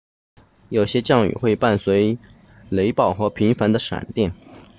有些降雨会伴随雷暴和频繁的闪电